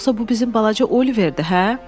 yoxsa bu bizim balaca Oliverdir, hə?